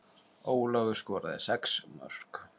Ólafur skoraði sex mörk.